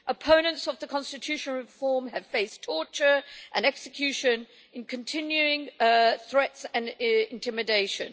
Opponents of the constitutional reform have faced torture, execution and continuing threats and intimidation.